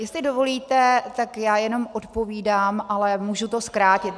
Jestli dovolíte, tak já jenom odpovídám, ale můžu to zkrátit.